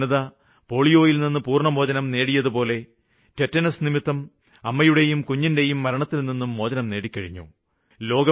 നമ്മുടെ ജനത പോളിയോയില്നിന്ന് പൂര്ണമോചനം നേടിയതുപോലെ ടെറ്റനസ്സ് നിമിത്തമുള്ള അമ്മയുടെയും കുഞ്ഞിന്റെയും മരണത്തില്നിന്നും മോചനം നേടിക്കഴിഞ്ഞു